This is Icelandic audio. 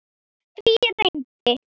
Því reyndi